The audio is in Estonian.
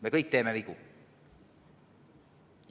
Me kõik teeme vigu.